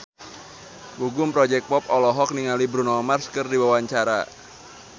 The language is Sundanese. Gugum Project Pop olohok ningali Bruno Mars keur diwawancara